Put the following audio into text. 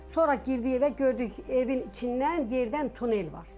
Sonra girdi evə, gördük evin içindən yerdən tunel var.